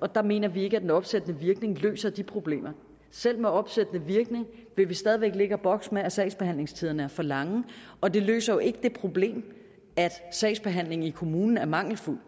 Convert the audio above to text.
og der mener vi ikke at den opsættende virkning løser problemerne selv med opsættende virkning vil vi stadig væk ligge og bokse med at sagsbehandlingstiderne er for lange og det løser jo ikke det problem at sagsbehandlingen i kommunen er mangelfuld